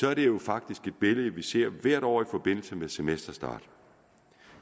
er det jo faktisk et billede som vi ser hvert år i forbindelse med semesterstart